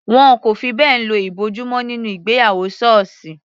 Wọn kò fi bẹ́ẹ̀ lo ìbòjú mọ́ nínú ìgbéyàwó sọọsi.